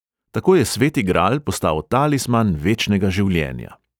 Tako je sveti gral postal talisman večnega življenja.